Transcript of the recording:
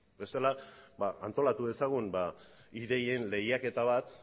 bestela antolatu dezagun ideien lehiaketa bat